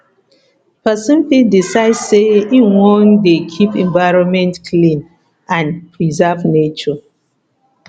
persin fit decide say im won de keep environment clean and preserve nature